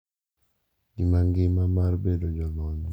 Gi ngima mar bedo jolony mag oganda.